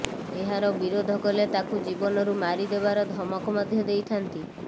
ଏହାର ବିରୋଧ କଲେ ତାକୁ ଜୀବନରୁ ମାରିଦେବାର ଧମକ ମଧ୍ୟ ଦେଇଥାନ୍ତି